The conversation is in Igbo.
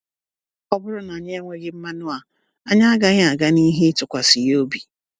Ọ bụrụ na anyị enweghị mmanụ a, anyị agaghị aga n’ihu ịtụkwasị ya obi.